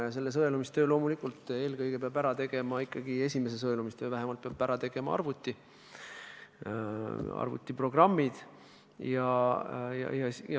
Ja selle sõelumistöö – vähemalt esimese sõelumistöö – peavad loomulikult ära tegema eelkõige arvutid, arvutiprogrammid.